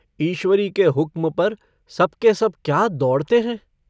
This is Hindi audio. ईश्वरी के हुक्म पर सब के सब क्या दौड़ते हैं।